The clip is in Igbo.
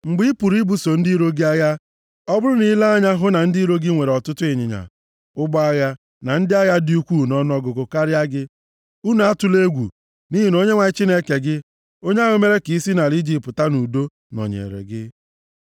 Mgbe i pụrụ ibuso ndị iro gị agha, ọ bụrụ na i lee anya hụ na ndị iro gị nwere ọtụtụ ịnyịnya, ụgbọ agha na ndị agha dị ukwuu nʼọnụọgụgụ karịa gị, unu atụla egwu, nʼihi na Onyenwe anyị Chineke gị, onye ahụ mere ka i si nʼala Ijipt pụta nʼudo, nọnyeere gị.